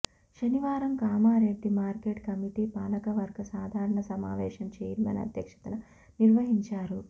శనివారం Kamareddy market committee పాలకవర్గ సాధారణ సమావేశం ఛైర్మన్ అధ్యక్షతన నిర్వహించారు